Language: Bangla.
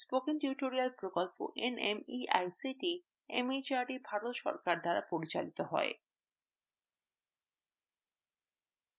spoken tutorial প্রকল্প nmeict mhrd ভারত সরকার দ্বারা পরিচালিত হয়